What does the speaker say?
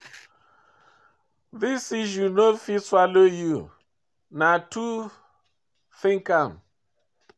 This issue no fit swallow you, no too think am.